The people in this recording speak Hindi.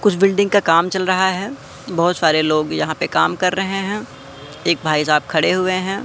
कुछ बिल्डिंग का काम चल रहा हैं बहोत सारे लोग यहां पे काम कर रहे हैं एक भाई साहब खड़े हुएं हैं।